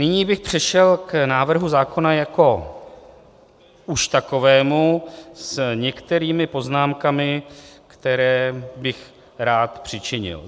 Nyní bych přešel k návrhu zákona jako už takovému s některými poznámkami, které bych rád přičinil.